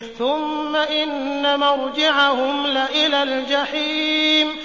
ثُمَّ إِنَّ مَرْجِعَهُمْ لَإِلَى الْجَحِيمِ